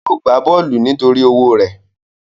Yóò gbá bọ́ọ̀lù nítorí owó rẹ̀